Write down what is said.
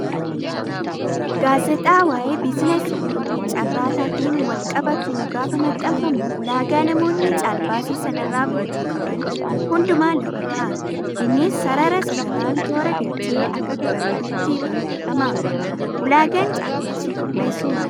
Gaazexaa waayee biizinasii fi caarrataatiin wal qabatu gaafa maxxanfamu ulaagaa namoonni caalbaasii sanarraa guutuu qaban hundumaa lafa kaa'a. Innis sarara sararaan toora galchee akak bareedutti barreeffama. Ulaagaan caalbaasii qopheessuu maali?